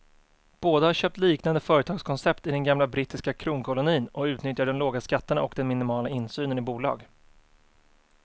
Båda har köpt liknande företagskoncept i den gamla brittiska kronkolonin och utnyttjar de låga skatterna och den minimala insynen i bolag.